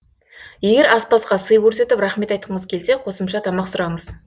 егер аспазға сый көрсетіп рақмет айтқыңыз келсе қосымша тамақ сұраңыз